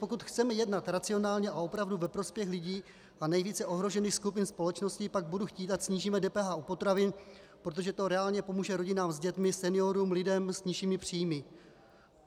Pokud chceme jednat racionálně a opravdu ve prospěch lidí a nejvíce ohrožených skupin společnosti, pak budu chtít, ať snížíme DPH u potravin, protože to reálně pomůže rodinám s dětmi, seniorům, lidem s nižšími příjmy.